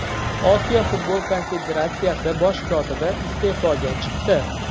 Osiyo futbol konfederatsiyasi bosh kotibi iste’foga chiqdi.